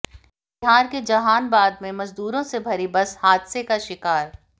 बिहार के जहानबाद में मजदूरों से भरी बस हादसे का शिकार